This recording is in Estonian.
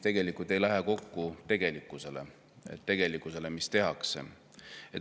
Tegelikult ei lähe see kokku tegelikkusega, mida tehakse.